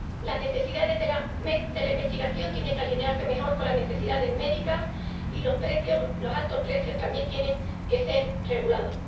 las necesidades de la investigación tienen que alinearse mejor con las necesidades médicas, y los precios, los altos precios también tienen que ser regulados.